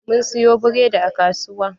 Mun siyo buredi a kasuwa.